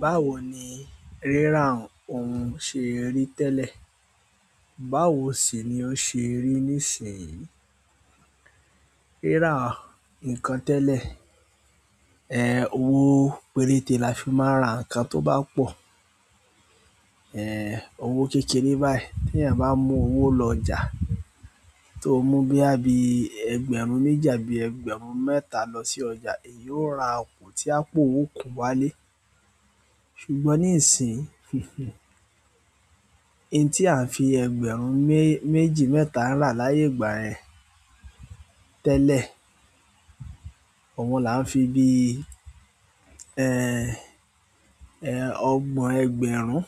Báwo ni rírà ohun ṣe rí tẹ́lẹ̀? Báwo sì ni ó ṣe rí nísinyìí? Rírà nǹkan tẹ́lẹ̀, owó péréte la fi máa ń ra. Nǹkan tó bá pọ̀, owó kékeré báyìí téèyàn bá mú owó lọ ọjà, tóo mú bóyá bí ẹgbẹ̀rún méjì àbí ẹgbẹ̀rún mẹ́ta lọ sí ọjà, èyí ó ra ọ̀pọ̀ tí àpò ó kún wálé. Ṣùgbọ́n nísinyìí, in tí à ń fi ẹgbẹ̀rún méjì, mẹ́ta rà láyé ìgbà yẹn tẹ́lẹ̀, àwọn là ń fi bíi ọgbọ̀n ẹgbẹ̀rún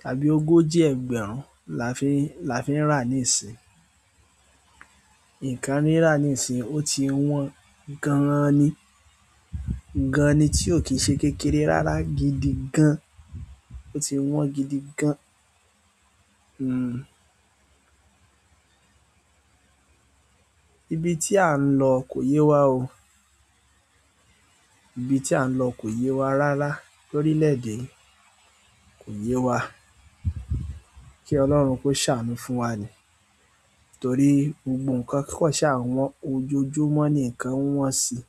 tàbí ogójì ẹgbẹ̀rún la fi ń, la fi ń rà nísinyìí. Ǹkan rírà nísinsìnyí ó ti wọ́n gan-an ni. Gan-an ni, tí ò kí ń ṣe kékeré rárá gidi gan-an. Ó ti wọ́n gidi gan-an. Ibi tí à ń lọ kò yé wa o. Ibi tí à ń lọ kò yé wa rárá lórílẹ̀-èdè yìí, kò yé wa. Kí Ọlọ́run kó ṣàánú fún wa ni. Torí gbogbo nǹkan kàn ṣáà ń wọ́n, ojoojúmọ́ ni nǹkan ń wọ́n síi.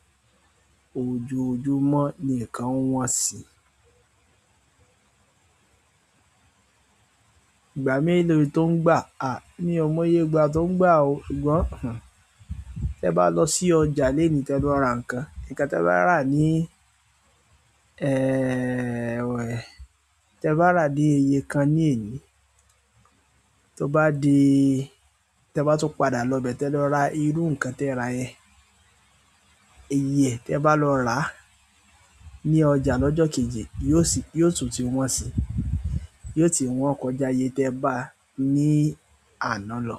Ojoojúmọ́ ni nǹkan ń wọ́n si. Ìgbà mélòó tó ń gbà? À, mí ò mọye ìgbà tó ń gbà o. Ṣùgbọ́n. Tẹ́ẹ bá lọ sí ọjà lónìí tẹ lọ ra nǹkan. Nǹkan tẹ́ẹ bá rà ní tẹ́ẹ bá rà ní iye kan ní èní, tó bá di-- tẹ́ẹ bá tún padà lọ ibẹ̀ tẹ́ẹ lọ ra irú nǹkan tẹ́ẹ rà yẹn, iye ẹ̀, tẹ́ẹ bá lọ ràá ní ọjà lọ́jọ́ kejì, yóò tún ti wọ́n si. Yóò ti wọ́n kọjá iyè tẹ́ẹ báa ní àná lọ.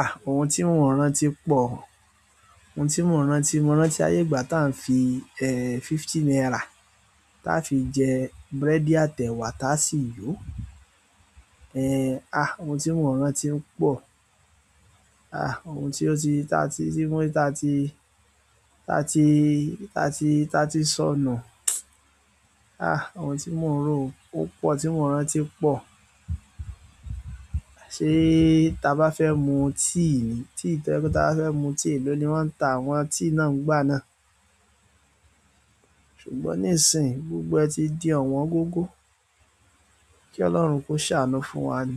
À, ohun tí mò ń rántí pọ̀. Ohun tí mò ń rántí, mo rántí ayé ìgbà táà ń fi fifty naira táá fi jẹ búrẹ́dì àtẹ̀wà táá sì yó. Ohun tí mò ń rántí ń pọ̀. À, ohun tí ó ti, ta tí, tí wọ́n, ta tí, ta tí, ta tí, ta tí sọnù. À, ohun tí mò ń ro ó pọ̀, tí mò ń rántí pọ̀. Ṣé táa bá fẹ́ mu tíì ni? Ta bá fẹ́ mu tíì èló ni wọ́n ń ta àwọn tíì náà ńgbà náà. Ṣùgbọ́n nísinyìí, gbogbo ẹ̀ ti di ọ̀wọ́n gógó. Kí Ọlọ́run kó ṣàánú fún wa ni.